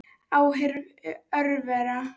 Áhrif örvera